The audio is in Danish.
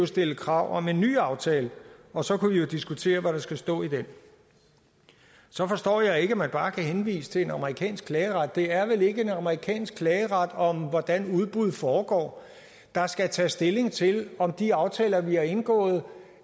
stille krav om en ny aftale og så kunne vi jo diskutere hvad der skal stå i den så forstår jeg ikke at man bare kan henvise til en amerikansk klageret det er vel ikke en amerikansk klageret om hvordan udbud foregår der skal tage stilling til om de aftaler vi har indgået